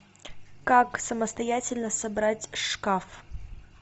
как самостоятельно собрать шкаф